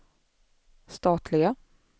statliga